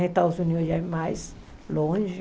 Estados Unidos já é mais longe.